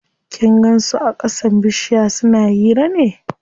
Kin gan su a ƙasan bishiya suna hira ne?